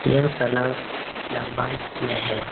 यह तालाब लम्बाई में है ।